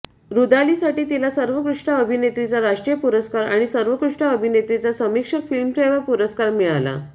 रुदालीसाठी तिला सर्वोत्कृष्ट अभिनेत्रीचा राष्ट्रीय पुरस्कार आणि सर्वोत्कृष्ट अभिनेत्रीचा समिक्षक फिल्मफेअर पुरस्कार मिळाला